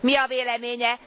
Mi a véleménye?